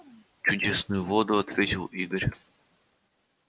чудесную воду ответил игорь